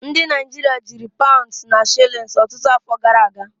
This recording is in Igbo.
Ndị Naịjirịa jiri paụnds na shilins ọtụtụ afọ gara aga.